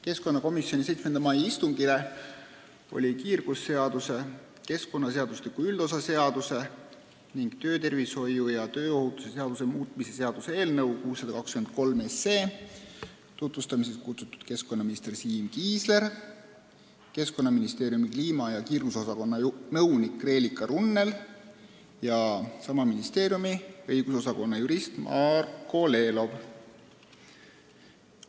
Keskkonnakomisjoni 7. mai istungile oli kiirgusseaduse, keskkonnaseadustiku üldosa seaduse ning töötervishoiu ja tööohutuse seaduse muutmise seaduse eelnõu 623 tutvustamiseks kutsutud keskkonnaminister Siim Kiisler, Keskkonnaministeeriumi kliima- ja kiirgusosakonna nõunik Reelika Runnel ja sama ministeeriumi õigusosakonna jurist Marko Lelov.